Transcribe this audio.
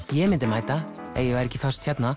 ég myndi mæta ef ég væri ekki föst hérna